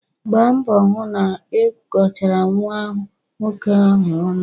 Gbaa mbọ hụ na ị kọchara nwa nwoke ahụ ọnụ!